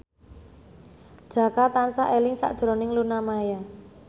Jaka tansah eling sakjroning Luna Maya